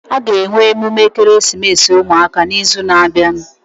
Aga enwe emume ekeresimesi ụmụaka na izu na abịa